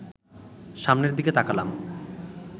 সামনের দিকে তাকালাম